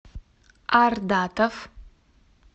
ардатов